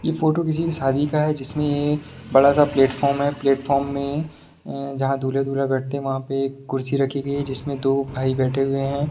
यह फोटो किसी के शादी का है जिसमें बड़ा-सा प्लेटफार्म है प्लेटफार्म में जहां दूल्हा-दुल्हन बैठते हैं वहां पे एक कुर्सी रखी गई है जिसमे दो भाई बैठे हुए हैं।